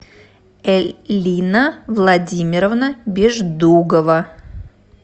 эллина владимировна беждугова